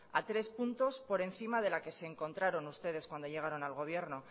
a tres puntos por encima de la que se encontraron ustedes cuando llegaron al gobierno